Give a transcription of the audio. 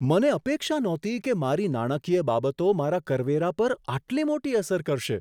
મને અપેક્ષા નહોતી કે મારી નાણાકીય બાબતો મારા કરવેરા પર આટલી મોટી અસર કરશે.